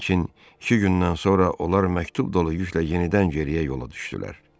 Lakin iki gündən sonra onlar məktub dolu yüklə yenidən geriyə yola düşdülər.